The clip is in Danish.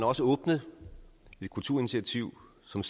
også åbnet et kulturinitiativ som